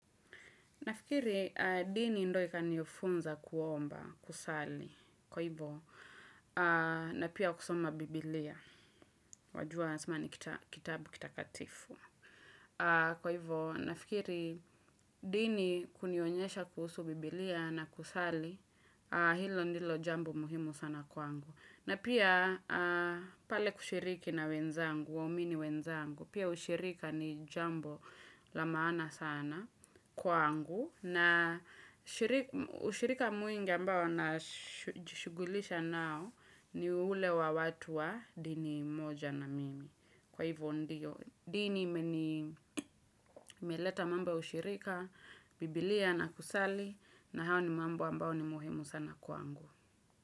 Nafikiri, dini ndo ikanifunza kuomba, kusali, kwa hivo, na pia kusoma biblia, wajua asema ni kitabu kitakatifu. Kwa hivo, nafikiri, dini kunionyesha kuhusu biblia na kusali, hilo ndilo jambo muhimu sana kwa angu. Na pia pale kushiriki na wenzangu, waumini wenzangu, pia ushirika ni jambo la maana sana kwangu. Na ushirika mwingi ambao najishugulisha nao ni ule wa watu wa dini moja na mimi. Kwa hivyo ndiyo, dini imeleta mambo ya ushirika, biblia na kusali, na hao ni mambo ambao ni muhimu sana kwangu.